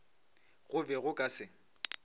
go be go ka se